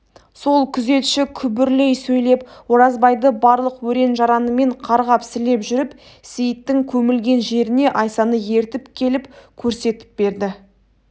сол күзетші күбірлей сөйлеп оразбайды барлық өрен-жаранымен қарғап-сілеп жүріп сейіттің көмілген жеріне айсаны ертіп келіп көрсетіп берді